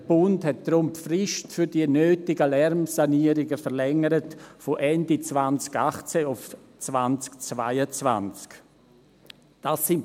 Der Bund hat deshalb die Frist für die nötigen Lärmsanierungen verlängert, von Ende 2018 auf 2022.